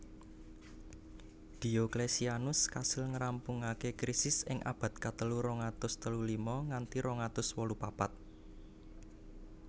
Diocletianus kasil ngrampungaké Krisis ing abad katelu rong atus telu lima nganti rong atus wolu papat